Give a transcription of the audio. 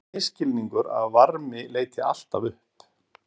það er misskilningur að varmi leiti alltaf upp